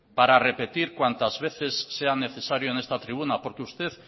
para repetir cuántas veces sea necesario en esta tribuna porque usted